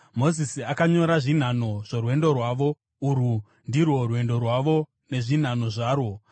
Mozisi akanyora zvinhanho zvorwendo rwavo. Urwu ndirwo rwendo rwavo nezvinhanho zvarwo: